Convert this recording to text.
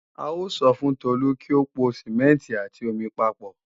A sọ fún Tolu kí ó po Sìmẹ́ǹtì àti omi papọ̀